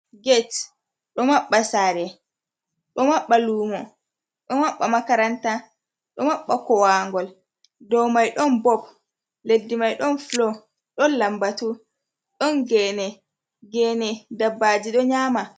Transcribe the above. Gate: Ɗo maɓɓa sare, ɗo maɓɓa lumo, ɗo maɓɓa makaranta, ɗo maɓɓa kowangol. Dou mai ɗon bob, leddi mai ɗon fulo, ɗon lambatu, ɗon gene, gene dabbaji ɗo nyama.